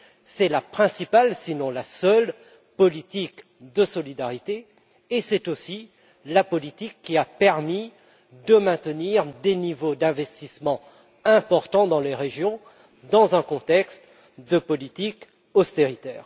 C'est la principale sinon la seule politique de solidarité et c'est aussi la politique qui a permis de maintenir des niveaux d'investissements importants dans les régions dans un contexte de politique d'austérité.